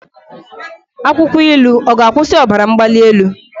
Akwụkwọ ilu ọ ga-akwụsị ọbara mgbali elu?